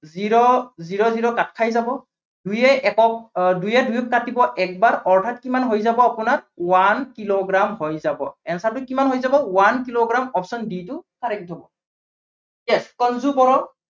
zero, zero zero কাট খাই যাব। দুইয়ে একক আহ দুইয়ে দুইক কাটিব একবাৰ। অৰ্থাত কিমান হৈ যাব আপোনাৰ one কিলোগ্ৰাম হৈ যাব। answer টো কিমান হৈ যাব one কিলোগ্ৰাম option b টো correct হব yes সঞ্জু বড়ো